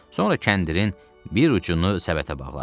Sonra kəndirin bir ucunu səbətə bağladı.